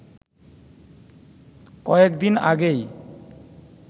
কয়েকদিন আগেই